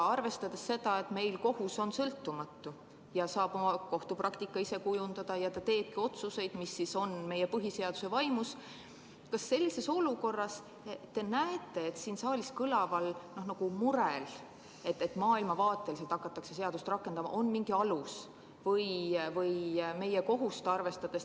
Arvestades seda, et meie kohus on sõltumatu ja saab kohtupraktikat ise kujundada ning teeb otsuseid, mis on põhiseaduse vaimus, siis kas sellises olukorras te näete siin saalis kõlaval murel, et seadust hakatakse rakendama maailmavaateliselt, mingit alust?